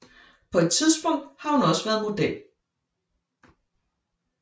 På et tidspunkt har hun også været model